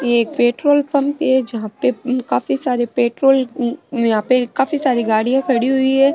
ये एक petrol pump है जहा पे काफी सारे पेट्रोल यहाँ पे काफी सारी गड़िया खड़ी हुई है।